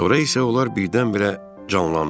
Sonra isə onlar birdən-birə canlandılar.